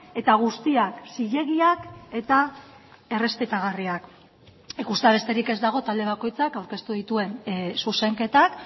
eta guztiak zilegiak eta errespetagarriak ikustea besterik ez dago talde bakoitzak aurkeztu dituen zuzenketak